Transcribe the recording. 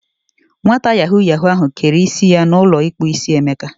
Nwata yahoo yahoo ahu kere isi ya na ulo ikpu isi Emeka.